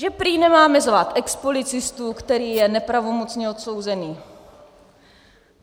Že prý nemáme zvát expolicistu, který je nepravomocně odsouzený.